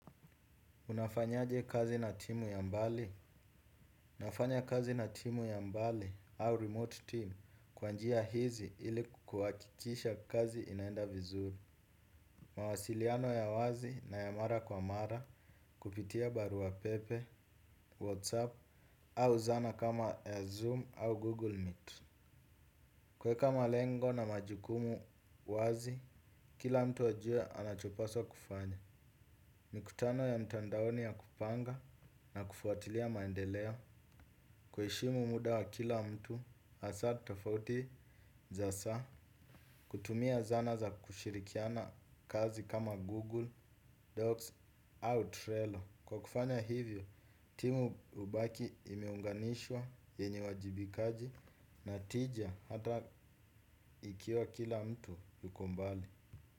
Unafanyaje kazi na timu ya mbali? Unafanya kazi na timu ya mbali au remote team kwa njia hizi ili kuhakikisha kazi inaenda vizuri. Mawasiliano ya wazi na ya mara kwa mara kupitia baru wa pepe, whatsapp au zana kama ya zoom au google meet. Kuweka malengo na majukumu wazi, kila mtu wajue anachopaswa kufanya. Mikutano ya mtandaoni ya kupanga na kufuatilia maendeleo. Kuheshimu muda wa kila mtu hasa tofauti za saa. Kutumia zana za kushirikiana kazi kama Google Docs au Trello. Kwa kufanya hivyo, timu hubaki imeunganishwa yenye uwajibikaji na tija hata ikiwa kila mtu yuko mbali.